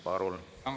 Palun!